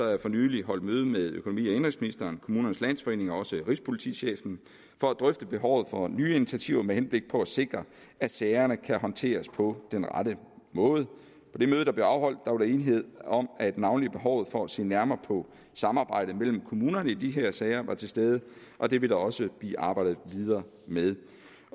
jeg for nylig holdt møde med økonomi og indenrigsministeren kommunernes landsforening og rigspolitichefen for at drøfte behovet for nye initiativer med henblik på at sikre at sagerne kan håndteres på den rette måde på det møde der blev afholdt var der enighed om at navnlig behovet for at se nærmere på samarbejdet mellem kommunerne i de her sager var til stede og det vil der også blive arbejdet videre med